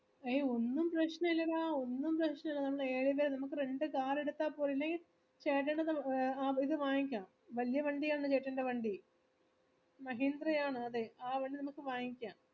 അയ്യോ ഒന്നും പ്രശ്നായില്ലഡാ ഒന്നും പ്രശ്നായില്ല നമ്മള് നമ്മക്ക് രണ്ട് car എടുത്തപോരേ ഇല്ലെങ്ങി ചേട്ടനടുത് നമു എ ആ ഇത് വാങ്ങിക്കാം വല്യവണ്ടിയാണ് ചേട്ടന്റെവണ്ടി മഹീന്ദ്രയാണ് അതെ ആ വണ്ടി നമ്ക് വാങ്ങിക്കാം